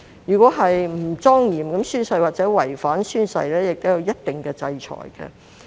如果不莊嚴地宣誓或違反宣誓，亦會有一定的制裁。